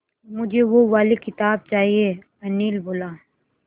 मुझे वो वाली किताब चाहिए अनिल बोला